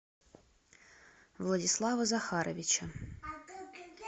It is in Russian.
владислава захаровича